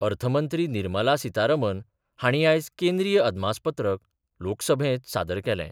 अर्थमंत्री निर्मला सितारामन हाणी आयज केंद्रीय अदमासपत्रक लोकसभेत सादर केलें.